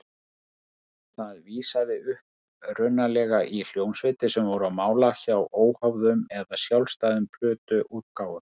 Það vísaði upprunalega í hljómsveitir sem voru á mála hjá óháðum eða sjálfstæðum plötuútgáfum.